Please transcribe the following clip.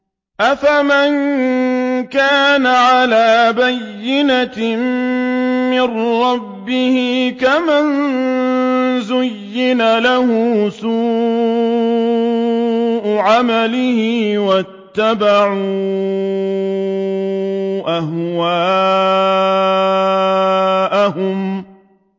أَفَمَن كَانَ عَلَىٰ بَيِّنَةٍ مِّن رَّبِّهِ كَمَن زُيِّنَ لَهُ سُوءُ عَمَلِهِ وَاتَّبَعُوا أَهْوَاءَهُم